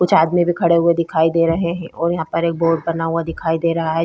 कुछ आदमी भी खड़े हुए दिखाई दे रहे हैं और यहाँ पर एक बोर्ड बना हुआ दिखाई दे रहा है।